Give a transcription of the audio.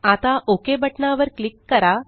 आता ओक बटना वर क्लिक करा